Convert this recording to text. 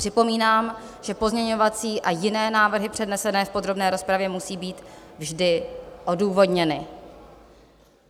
Připomínám, že pozměňovací a jiné návrhy přednesené v podrobné rozpravě musí být vždy odůvodněny.